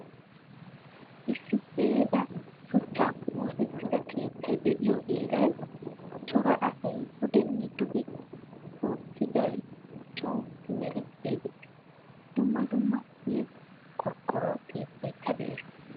Issi ceega shuchchaappe oosettida keettay de'iyo heeran cora asay pudene dugge tokkiday co simerettiyay de'ees. Dumma dumma ceega qoroqoro keettaykka de'ees.